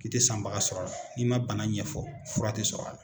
K'i tɛ sanbaga sɔrɔ a la n'i man bana ɲɛfɔ fura tɛ sɔrɔ a la.